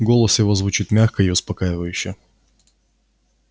голос его звучит мягко и успокаивающе